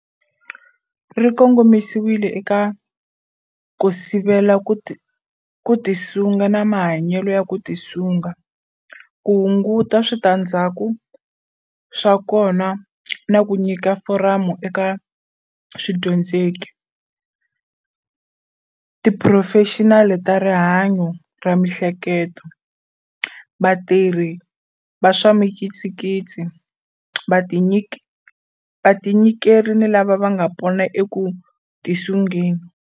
Ri kongomisiwile eka ku sivela ku tisunga na mahanyelo ya ku tisunga, ku hunguta switandzhaku swa kona na ku nyika foramu eka swidyondzeki, tiphurofexinali ta rihanyo ra miehleketweni, vatirhi va swa mikitsikitsi, vatinyikeri ni lava nga pona eku tisungeni.